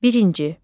Birinci.